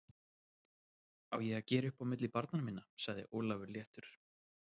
Á ég að gera upp á milli barnanna minna? sagði Ólafur léttur.